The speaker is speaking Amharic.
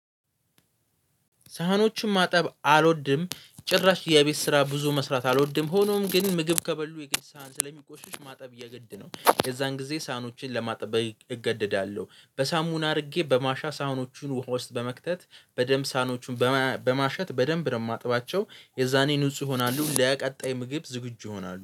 ሳህኖችን ማጠብ አልወድም ጭራሽ የቤት ስራ ብዙ መስራት አልወድም። ሆኖም ግን ምግብ ከበሉ የሳህን ስለሚቆሽሽ ማጠብ የግድ ነው። የዛን ጊዜ ሳህኖችን ለማጠብ እገደዳለሁ በሳሙና አድርጌ በማሻ ሳህኖቹን ውሃ ውስጥ በመክተት በደንብ ሳህኖቹን በማሸት በደንብ ነው የማጥባቸው። የዛኔ ንጹህ ይሆናሉ ለቀጣይ ምግብ ዝግጁ ይሆናሉ